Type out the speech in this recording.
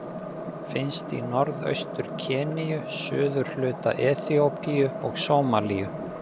Finnst í Norðaustur-Keníu, suðurhluta Eþíópíu og Sómalíu.